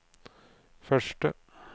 første